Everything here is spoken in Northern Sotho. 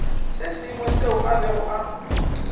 sengwe seo a bego a